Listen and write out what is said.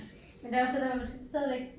Men det er også det der man skal stadigvæk